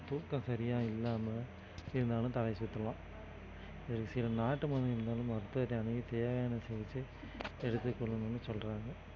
தூக்கம் சரியா இல்லாம இருந்தாலும் தலைச்சுற்றலாம் ஒரு சில நாட்டு மருந்து இருந்தாலும் மருத்துவத்தை அணுகி தேவையான சிகிச்சை எடுத்துக் கொள்ளணும்ன்னு சொல்றாங்க